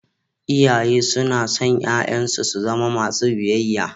Iyaye suna son 'ya'yansu su zama masu biyayya.